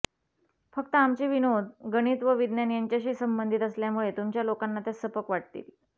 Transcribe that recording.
फक्त आमचे विनोद गणित व विज्ञान यांच्याशी संबंधित असल्यामुळे तुमच्या लोकांना त्या सपक वाटतील